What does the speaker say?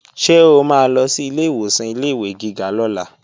Ṣé o máa lọ sí ilé ìwòsàn ilé-ìwé gíga lọ́la?